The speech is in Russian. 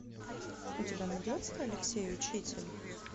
у тебя найдется алексей учитель